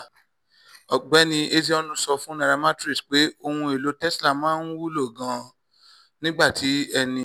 ọ̀gbẹ́ni ezeonu sọ fún nairametrics pé ohun elo tesla máa ń wúlò gan-an nígbà tí ẹni